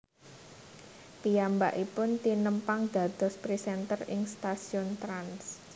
Piyambakipun tinepang dados presenter ing stasiun Trans